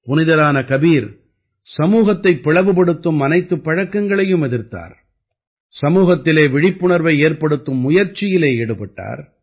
புனிதரான கபீர் சமூகத்தைப் பிளவுபடுத்தும் அனைத்துப் பழக்கங்களையும் எதிர்த்தார் சமூகத்திலே விழிப்புணர்வை ஏற்படுத்தும் முயற்சியிலே ஈடுபட்டார்